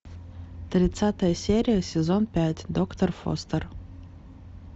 тридцатая серия сезон пять доктор фостер